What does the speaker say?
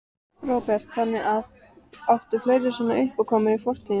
Róbert: Þannig að, áttu fleiri svona uppákomur í fortíðinni?